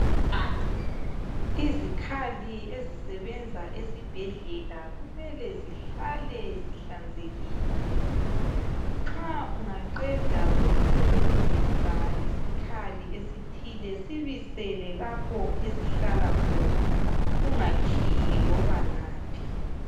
Izikhali ezisebenza esibhedlela kumele zihlale zihlanzekile. Nxa ungaqeda ukusebenzisa isikhali esithile, sibisele lapho esihlala khona ungatshiyi loba ngaphi.